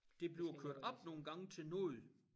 Det bliver kørt op nogle gange til noget